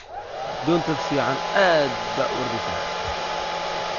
Doonta ficn aad baa urodheysa.